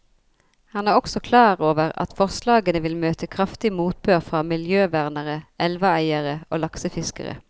Han er også klar over at forslagene vil møte kraftig motbør fra miljøvernere, elveeiere og laksefiskere.